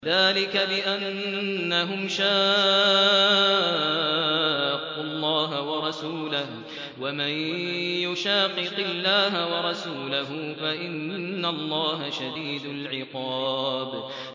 ذَٰلِكَ بِأَنَّهُمْ شَاقُّوا اللَّهَ وَرَسُولَهُ ۚ وَمَن يُشَاقِقِ اللَّهَ وَرَسُولَهُ فَإِنَّ اللَّهَ شَدِيدُ الْعِقَابِ